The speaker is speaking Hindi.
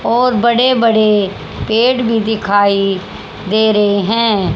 और बड़े बड़े पेड़ भी दिखाई दे रहे हैं।